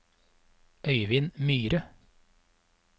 Øyvind Myhre